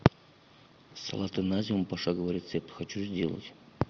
салаты на зиму пошаговый рецепт хочу сделать